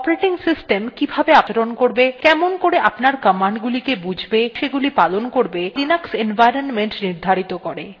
operating system কিভাবে আপনার সঙ্গে আচরণ করবে কেমন করে আপনার commands গুলিকে বুঝবে এবং সেগুলি পালন করবে ত়া linux environment নির্ধারিত করে